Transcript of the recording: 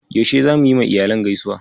Yaushe zamu yiwa iyalan gaisuwa?